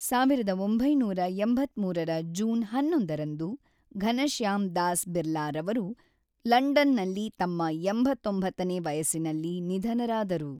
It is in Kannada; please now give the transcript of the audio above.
ಸಾವಿರದ ಒಂಬೈನೂರ ಎಂಬತ್ತ್ಮೂರರ ಜೂನ್ ಹನ್ನೊಂದರಂದು ಘನಶ್ಯಾಮ್ ದಾಸ್ ಬಿರ್ಲಾರವರು ಲಂಡನ್‌ನಲ್ಲಿ ತಮ್ಮ ಎಂಬತ್ತೊಂಬತ್ತನೇ ವಯಸ್ಸಿನಲ್ಲಿ ನಿಧನರಾದರು.